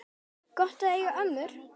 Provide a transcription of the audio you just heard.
Gott að eiga ömmur!